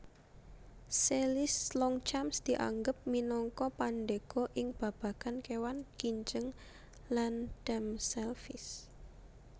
Selys Longchamps dianggep minangka pandhéga ing babagan kéwan kinjeng land damselflies